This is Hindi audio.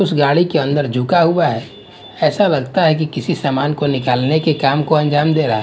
उस गाड़ी के अंदर झुका हुआ है ऐसा लगता है कि किसी सामान को निकालने के काम को अंजाम दे रहा--